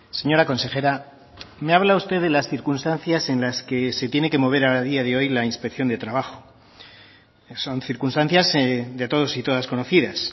señora consejera me habla usted de las circunstancias en las que se tiene que mover a día de hoy la inspección de trabajo son circunstancias de todos y todas conocidas